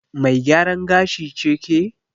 Mai gyaran gashi ce ke?